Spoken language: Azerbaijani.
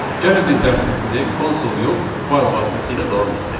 Gəlin biz dərsimizi konsul yox, fayl vasitəsilə davam etdirək.